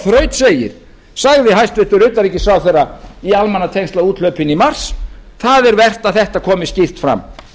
þetta sagði hæstvirtur utanríkisráðherra í almannatengslaúthlaupinu í mars það er vert að þetta komi skýrt fram